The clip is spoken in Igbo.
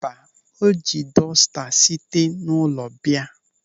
Mba, o ji dọsta site n'ụlọ bịa.